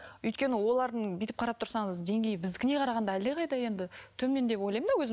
өйткені олардың бүйтіп қарап тұрсаңыз деңгейі біздікіне қарағанда әлдеқайда енді төмен деп ойлаймын да өзім